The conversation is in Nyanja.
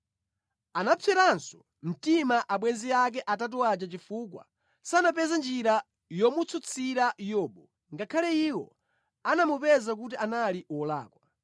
Anapseranso mtima abwenzi ake atatu aja chifukwa sanapeze njira yomutsutsira Yobu, ngakhale iwo anamupeza kuti anali wolakwa.